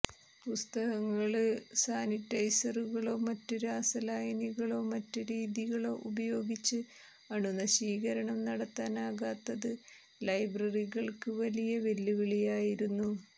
പുസ്തകങ്ങള് സാനിറ്റൈസറുകളൊ മറ്റ് രാസ ലായനികളൊ മറ്റ് രീതികളൊ ഉപയോഗിച്ച് അണു നശീകരണം നടത്താനാകാത്തത് ലൈബ്രറികള്ക്ക് വലിയ വെല്ലുവിളിയായിരുന്നു